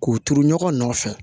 K'u turu ɲɔgɔn nɔfɛ